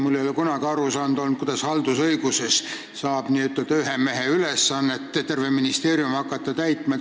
Mulle ei ole kunagi arusaadav olnud, kuidas saab haldusõiguses olla nii, et n-ö ühe mehe ülesannet hakata täitma terve ministeerium.